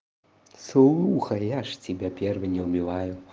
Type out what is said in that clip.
сухарь я же тебя первый не убивай